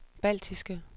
baltiske